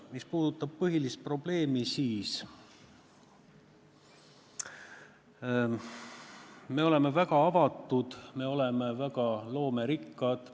Mis puudutab põhilist probleemi, siis me oleme väga avatud, me oleme väga loomerikkad.